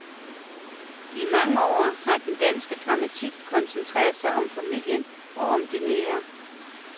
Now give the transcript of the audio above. I mange år har den danske dramatik koncentreret sig om familien og om det nære.